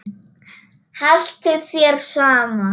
Haltu þér saman